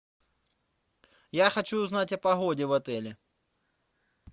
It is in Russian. я хочу узнать о погоде в отеле